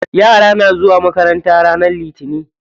Yara na zuwa makaranta ranar litinin.